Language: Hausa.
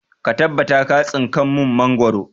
Ka tabbata ka tsinka mun mangoro!